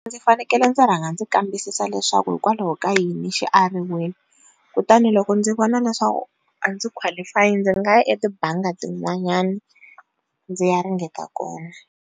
Ndzi fanekele ndzi rhanga ndzi kambisisa leswaku hikwalaho ka yini xi ariwile kutani loko ndzi vona leswaku a ndzi qualify ndzi nga ya etibangi tin'wanyani ndzi ya ringeta kona.